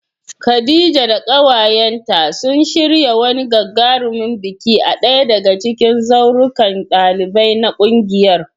Khadija da kawayenta sun shirya wani gagarumin biki a daya daga cikin zaurukan ɗalibai na kungiyar.